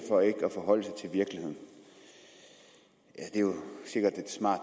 for ikke at forholde sig til virkeligheden er jo sikkert et smart